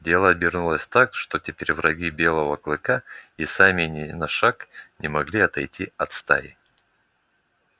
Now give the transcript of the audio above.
дело обернулось так что теперь враги белого клыка и сами ни на шаг не могли отойти от стаи